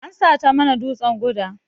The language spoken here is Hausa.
An sata mana dutsan guda.